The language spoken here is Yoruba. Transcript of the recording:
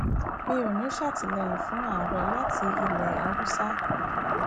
mi ò ní í ṣàtìlẹyìn fún ààrẹ láti ilẹ haúsálẹ